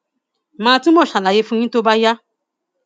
mà á túbọ ṣàlàyé bó ti jẹ fún yín tó bá yá